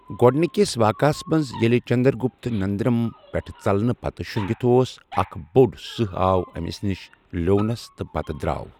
گۄڈنِکِس واقعس منٛز ییٚلہِ چنٛدرٛگُپت ننٛدرَم پٮ۪ٹھٕہٕ ژلنہٕ پتہٕ شو٘نٛگِتھ اوس، اَکھ بوٚڈ سٕہہ آو أمِس نِش، لیٚونس تہٕ پتہٕ درٛاو۔